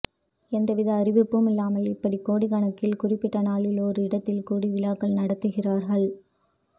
எந்தவித அறிப்பும் இல்லாமல் இப்படி கோடிக் கணக்கில் குறிப்பிட்ட நாளில் ஒரு இடத்தில் கூடி விழாக்கள் நடத்துகிறார்கள்